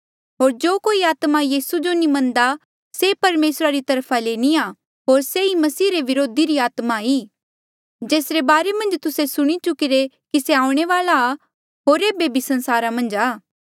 होर जो कोई आत्मा यीसू जो नी मन्नदा से परमेसरा री तरफा ले नी आ होर से ई मसीह रे व्रोधी री आत्मा ई जेसरे बारे मन्झ तुस्से सुणी चुकिरे कि से आऊणें वाल्आ आ होर एेबे भी संसारा मन्झ आ